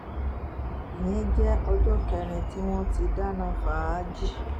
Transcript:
ìyẹn jẹ́ ọjọ́ kẹrin tí wọ́n ti dáná fàájì